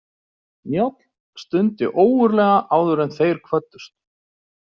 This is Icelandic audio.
Njáll stundi ógurlega áður en þeir kvöddust.